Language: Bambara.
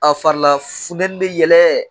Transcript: A farila funtɛnnin mɛ yɛlɛn